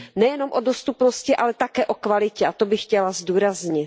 Nejen o dostupnosti, ale také o kvalitě, a to bych chtěla zdůraznit.